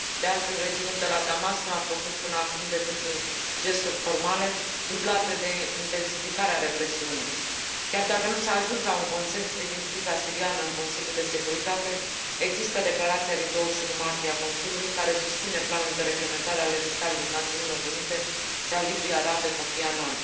De altfel, regimul de la Damasc nu a făcut până acum decât gesturi formale dublate de intensificarea represiunii. Chiar dacă nu s a ajuns la un consens privind criza siriană în Consiliul de Securitate, există declarația din 21 martie a Consiliului care susține planul de reglementare al emisarului Națiunilor Unite și al Ligii Arabe, Kofi Annan.